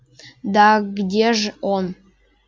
да где же он